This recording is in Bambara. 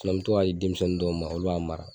Sinɔn n be to ka di denmisɛnnin dɔw ma olu, y'a mara